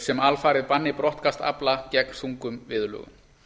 sem alfarið banni brottkast afla gegn þungum viðurlögum